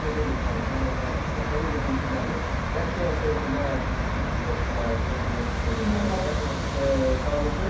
Infantino ilə Ceferin də bir-birlərini qətiyyən sevmillər, yəni bunu bütün futbol ictimaiyyəti də, dünya futbol ictimaiyyəti də danışır.